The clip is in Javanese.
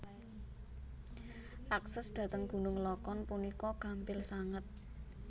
Akses dhateng gunung lokon punika gampil sanget